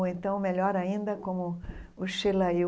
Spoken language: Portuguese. Ou então, melhor ainda, como o Sheila e o...